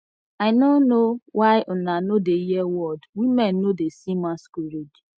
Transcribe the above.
i no know why una no dey hear word women no dey see masquerade